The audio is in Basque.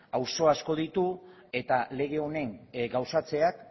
auzo asko ditu eta lege honen gauzatzeak